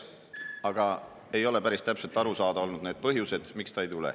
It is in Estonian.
Need põhjused, miks ta ei tule, ei ole päris täpselt aru saada olnud.